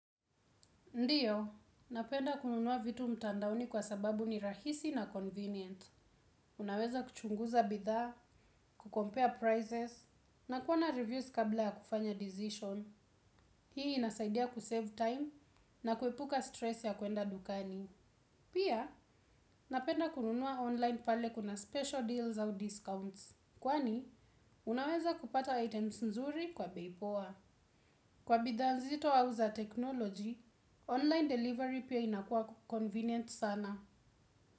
Ndiyo, napenda kununua vitu mtandaoni kwa sababu ni rahisi na convenient. Unaweza kuchunguza bidhaa, kucompare prizes, na kuona reviews kabla ya kufanya decision. Hii inasaidia kusave time na kuepuka stress ya kwenda dukani. Pia, napenda kununua online pale kuna special deals au discounts. Kwani, unaweza kupata items nzuri kwa bei poa. Kwa bidhaa nzito au za technology, online delivery pia inakua convenient sana.